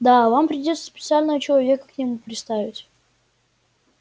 да вам придётся специального человека к нему приставить